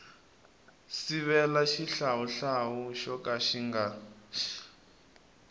sivela xihlawuhlawu xo ka xi